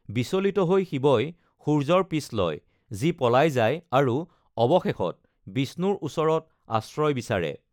বিচলিত হৈ শিৱই সূৰ্য্যৰ পিছ লয়, যি পলাই যায়, আৰু অৱশেষত বিষ্ণুৰ ওচৰত আশ্ৰয় বিচাৰে।